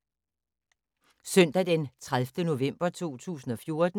Søndag d. 30. november 2014